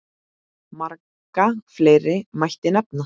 Marga fleiri mætti nefna.